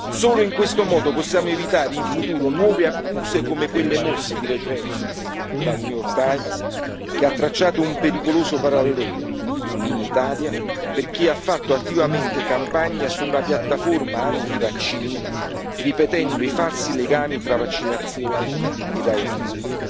Solo in questo modo possiamo evitare in futuro nuove accuse, come quelle mosse di recente dal New York Times che ha tracciato un pericoloso parallelo, in Italia, per chi ha fatto attivamente campagna sulla piattaforma antivaccini, ripetendo i falsi legami tra vaccinazione e autismo.